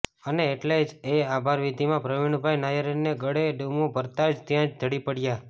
અને એટલે જ એ આભારવિધિમાં પ્રવિણભાઈ નાયરને ગળે ડૂમો ભરાતાં જ ત્યાં જ ઢળી પડ્યા